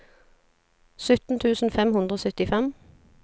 sytten tusen fem hundre og syttifem